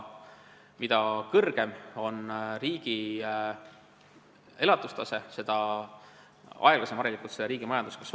Mida kõrgem on riigi elatustase, seda aeglasem on harilikult selle riigi majanduskasv.